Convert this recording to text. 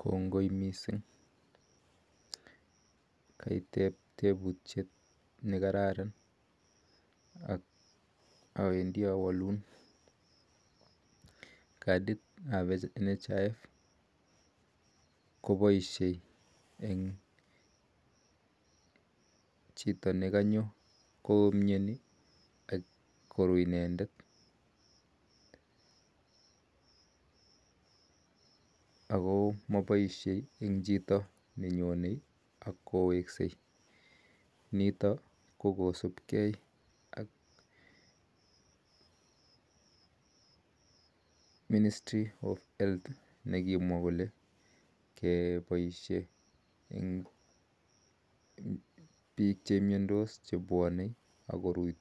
Konngoi missing kaitep tebutyeet nekararan ak awendii awaluun poishee katii nitok pa nhif ko mapaishee mising eng chito nenyoo ak kowekseei kosup kee ak serikaliit nyoon nep